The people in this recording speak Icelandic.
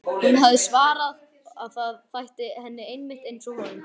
Hún hafði svarað að það þætti henni einmitt einsog honum.